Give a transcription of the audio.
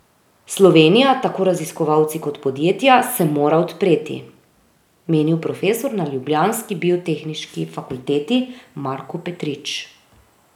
Slovenija, tako raziskovalci kot podjetja, se mora odpreti, menil profesor na ljubljanski biotehniški fakulteti Marko Petrič.